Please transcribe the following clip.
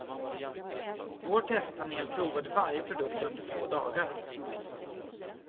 Vår testpanel provade varje produkt under två dagar.